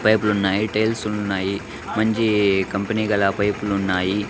పైపులున్నాయి tiles ఉన్నాయి మంజీ company గల పైపులున్నాయి .